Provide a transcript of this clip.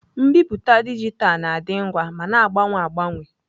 Mbipụta dijitalụ na-adị ngwa ma na-agbanwe agbanwe.